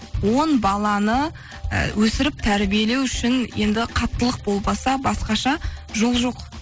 он баланы і өсіріп тәрбиелеу үшін енді қаттылық болмаса басқаша жол жоқ